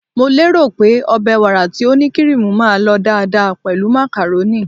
Mo lérò pé ọbẹ̀ wàrà tí ó ní kiriimu máa lọ dáadáa pẹ̀lú macaroni.